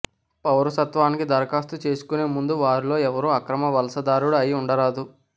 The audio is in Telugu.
పౌరసత్వానికి దరఖాస్తు చేసుకునే ముందు వారిలో ఎవరూ అక్రమ వలసదారుడు అయి ఉండరాదు